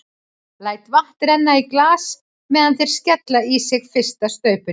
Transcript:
Læt vatn renna í glas meðan þeir skella í sig fyrsta staupinu.